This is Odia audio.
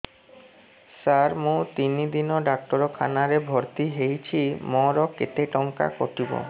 ସାର ମୁ ତିନି ଦିନ ଡାକ୍ତରଖାନା ରେ ଭର୍ତି ହେଇଛି ମୋର କେତେ ଟଙ୍କା କଟିବ